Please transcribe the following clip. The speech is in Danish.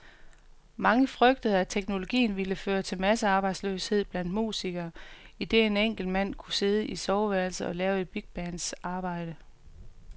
Mange frygtede, at teknologien ville føre til massearbejdsløshed blandt musikere, idet en enkelt mand kunne sidde i soveværelset og lave et bigbands arbejde.